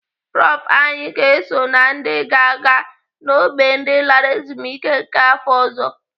Prof anyị ga-eso na ndị ga-aga n'ógbè ndị lara ezumike nká afọ ọzọ.